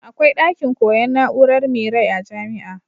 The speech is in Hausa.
Akwai dakin koyan na'urar me rai a jamia